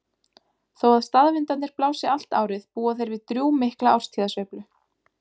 Þó að staðvindarnir blási allt árið búa þeir við drjúgmikla árstíðasveiflu.